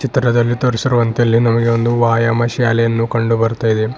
ಚಿತ್ರದಲ್ಲಿ ತೋರಿಸಿರುವಂತೆ ಇಲ್ಲಿ ನಮಗೆ ಒಂದು ವಾಯಾಮ ಶಾಲೆಯನು ಕಂಡು ಬರ್ತಾ ಇದೆ.